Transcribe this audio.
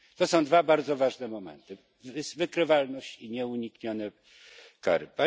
To są dwa bardzo ważne momenty wykrywalność i nieuniknione kary.